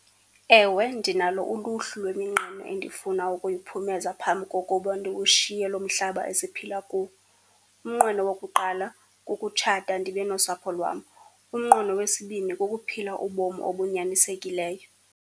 Ewe ndinalo uluhlu lweminqeno endifuna ukuyiphumeza phambi kokuba ndiwushiye lo mhlaba esiphila kuwo. Umnqweno wokuqala kukutshata ndibe nosapho lwam. Umnqweno wesibini kukuphila ubomi obunyanisekileyo.